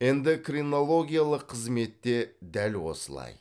эндокринологиялық қызметте дәл осылай